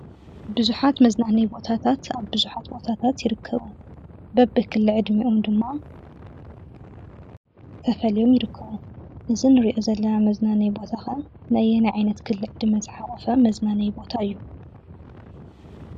ቡዙሓት መዝናነዩ ቦታታት ኣብ ቡዙሓት ቦታታት ይርከቡ። በብክሊዕድሚኦም ድማ ተፈልዮም ይርከቡ እዚ እንሪኦ ዘለና መዝናነዩ ቦታ ኸ ነየናይ ዕድመ ክልል ዝሓቋፈ መዝናነዩ ቦታ እዩ?